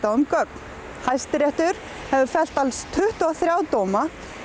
á um gögn Hæstiréttur hefur fellt alls tuttugu og þrjá dóma